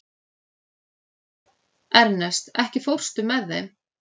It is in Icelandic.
Ernest, ekki fórstu með þeim?